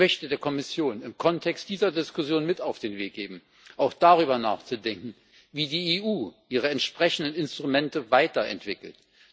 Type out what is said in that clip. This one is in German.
Ich möchte der Kommission im Kontext dieser Diskussion mit auf den Weg geben, auch darüber nachzudenken, wie die EU ihre entsprechenden Instrumente weiterentwickelt.